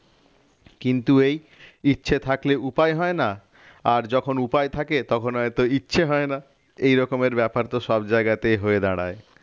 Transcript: কিন্তু এই ইচ্ছে থাকলে উপায় হয় না আর যখন উপায় থাকে তখন হয়তো ইচ্ছা হয় না এরকমের ব্যাপার তো সব জায়গাতে হয়ে দাঁড়ায়